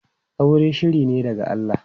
Aure shiri ne daga Allah.